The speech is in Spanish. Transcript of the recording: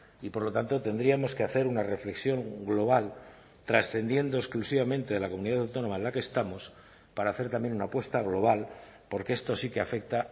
y por lo tanto tendríamos que hacer una reflexión global trascendiendo exclusivamente de la comunidad autónoma en la que estamos para hacer también una apuesta global porque esto sí que afecta